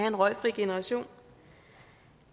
en røgfri generation